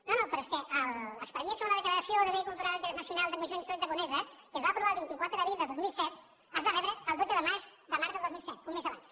no no però és que l’expedient sobre la declaració de bé cultural d’interès nacional del conjunt històric de conesa que es va aprovar el vint quatre d’abril del dos mil set es va rebre el dotze de març del dos mil set un mes abans